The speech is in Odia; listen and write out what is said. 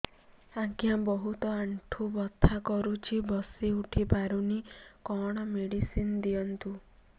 ଆଜ୍ଞା ବହୁତ ଆଣ୍ଠୁ ବଥା କରୁଛି ବସି ଉଠି ପାରୁନି କଣ ମେଡ଼ିସିନ ଦିଅନ୍ତୁ